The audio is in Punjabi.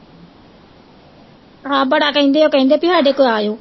ਹਾਂ ਬੜਾ ਕਹਿੰਦੇ ਉਹ ਕਹਿੰਦੇ ਵੀ ਸਾਡੇ ਕੋਲ ਆਇਓ